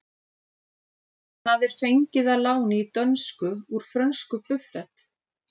Það er fengið að láni í dönsku úr frönsku buffet.